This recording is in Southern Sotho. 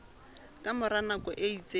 ka mora nako e itseng